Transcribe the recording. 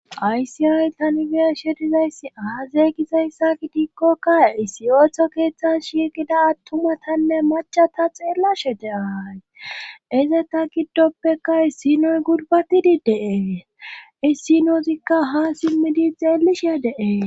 aysiyay ta nibesherizayssi haazeygizayssa gi diikkokka isiyotho keeththas shigida attumatanne macha ta xeella shete ahayi ize ta giddoppeka issinoy gurbatidi deee issinozikka ha simmidi xeelishee de7ee